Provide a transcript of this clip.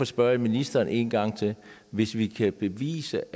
spørger jeg ministeren en gang til hvis vi kan bevise